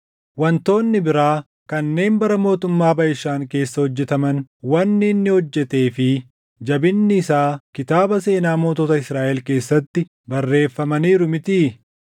Wantoonni biraa kanneen bara mootummaa Baʼishaan keessa hojjetaman, wanni inni hojjetee fi jabinni isaa kitaaba seenaa mootota Israaʼel keessatti barreeffamaniiru mitii?